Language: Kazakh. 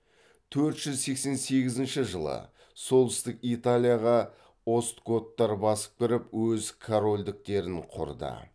төрт жүз сексен сегізінші жылы солтүстік италияға остготтар басып кіріп өз корольдіктерін құрды